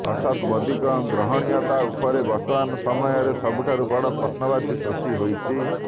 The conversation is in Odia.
ଅର୍ଥାତ୍ ମୋଦିଙ୍କ ଗ୍ରହଣୀୟତା ଉପରେ ବର୍ତ୍ତମାନ ସମୟରେ ସବୁଠାରୁ ବଡ ପ୍ରଶ୍ନବାଚୀ ସୃଷ୍ଟି ହୋଇଛି